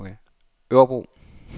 Örebro